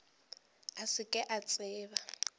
a se ke a tseba